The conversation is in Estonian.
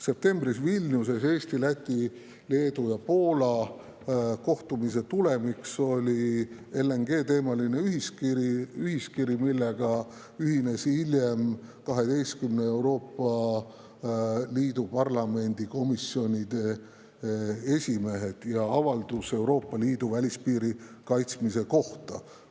Septembris Vilniuses toimunud Eesti, Läti, Leedu ja Poola kohtumise tulemiks oli LNG-teemaline ühiskiri, millega ühinesid hiljem 12 Euroopa Liidu riigi parlamendi komisjoni esimehed, ning avaldus Euroopa Liidu välispiiri kaitsmise kohta.